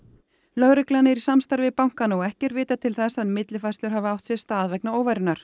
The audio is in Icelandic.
lögreglan er í samstarfi við bankana og ekki er vitað til þess að millifærslur hafi átt sér stað vegna